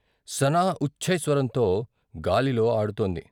సనా ఉచ్ఛైస్వరంతో గాలిలో ఆడు తోంది.